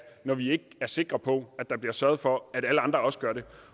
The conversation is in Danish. når de ikke er sikre på at der bliver sørget for at alle andre også gør det